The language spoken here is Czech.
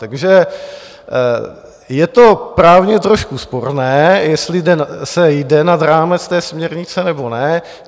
Takže je to právně trošku sporné, jestli se jde nad rámec té směrnice, nebo ne.